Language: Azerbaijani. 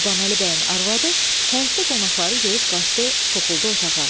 Qurbanəli bəyin arvadı həyətdə qonaqları görüb qaçdı, soxuldu otağa.